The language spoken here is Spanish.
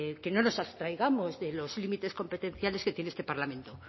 que no nos abstraigamos de los límites competenciales que tiene este parlamento